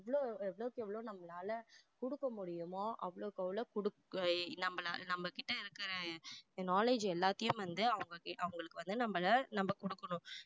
எவ்வளோ எவ்வளவுக்கு எவ்வளோ நம்மளால கொடுக்க முடியுமோ அவ்வளவுக்கு அவ்வளோ கொடுக்க நம்மளா~ நம்மகிட்ட இருக்கிற knowledge எல்லாத்தையும் வந்து அவங்களுக்கு அவங்களுக்கு வந்து நம்மள நம்ம கொடுக்கணும்